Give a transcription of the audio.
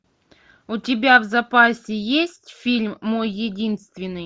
у тебя в запасе есть фильм мой единственный